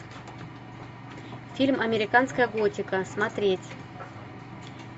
фильм американская готика смотреть